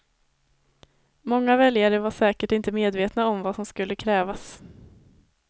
Många väljare var säkert inte medvetna om vad som skulle krävas.